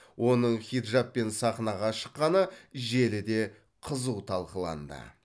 оның хиджабпен сахнаға шыққаны желіде қызу талқыланды